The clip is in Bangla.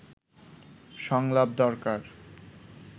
সংলাপ দরকার